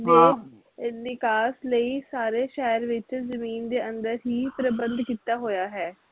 ਨਿਕਾਸ ਲਈ ਸਾਰੇ ਸ਼ਹਿਰ ਦੇ ਵਿਚ ਜ਼ਮੀਨ ਦੇ ਅੰਦਰ ਹੀ ਪ੍ਰਬੰਧ ਕੀਤਾ ਹੋਇਆ ਹੈ